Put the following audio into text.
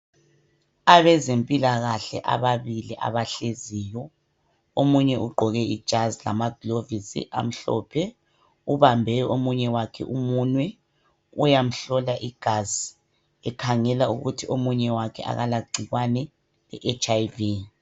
Abezempilakahle ababili abahleziyo omunye ugqoke ijazi lamaglovisi elimhlophe, ubambe omunye wakhe umunwe, uyamhlola igazi ekhangela ukuthi omunye wakhe akalagciwane i HIV.